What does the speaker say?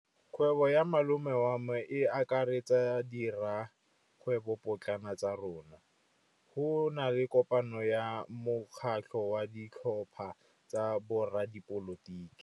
Kgwêbô ya malome wa me e akaretsa dikgwêbôpotlana tsa rona. Go na le kopanô ya mokgatlhô wa ditlhopha tsa boradipolotiki.